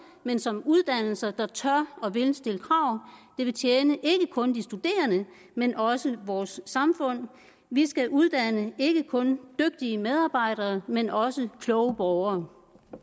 men som uddannelser der tør og vil stille krav det vil tjene ikke kun de studerende men også vores samfund vi skal uddanne ikke kun dygtige medarbejdere men også kloge borgere